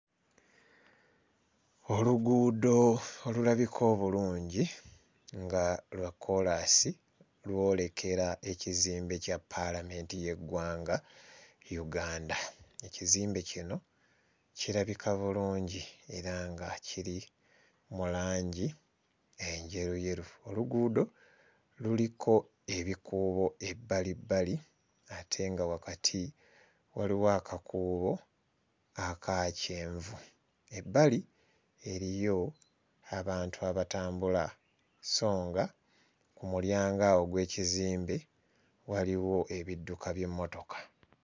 Oluguudo olulabika obulungi nga lwa kkoolaasi lwolekera ekizimbe kya ppaalamenti y'eggwanga Uganda. Ekizimbe kino kirabika bulungi era nga kiri mu langi enjeruyeru oluguudo luliko ebikuubo ebbalibbali ate nga wakati waliwo akakuubo aka kyenvu. Ebbali eriyo abantu abatambula sso nga ku mulyango awo ogw'ekizimbe waliwo ebidduka by'emmotoka.